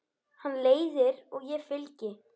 Hann leiðir og ég fylgi.